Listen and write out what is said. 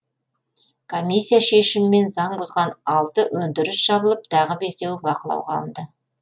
комиссия шешімімен заң бұзған алты өндіріс жабылып тағы бесеуі бақылауға алынды